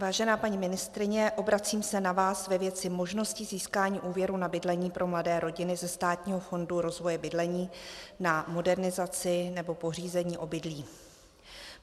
Vážená paní ministryně, obracím se na vás ve věci možnosti získání úvěrů na bydlení pro mladé rodiny ze Státního fondu rozvoje bydlení na modernizaci nebo pořízení obydlí.